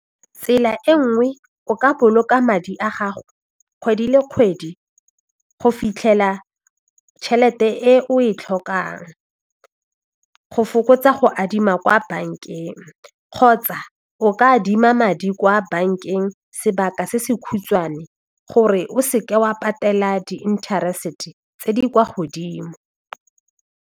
Tsela e nngwe o ka boloka madi a gago kgwedi le kgwedi go fitlhela tšhelete e o e tlhokang go fokotsa go adima kwa bankeng kgotsa o ka adima madi kwa bankeng sebaka se se khutshwane gore o se ke wa patela di interest tse di kwa godimo.